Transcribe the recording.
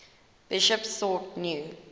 bishops sought new